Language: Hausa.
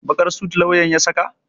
Baƙar sut lauyan ya saka?